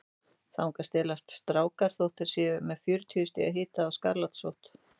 Þangað stelast strákar þótt þeir séu með fjörutíu stiga hita og skarlatssótt.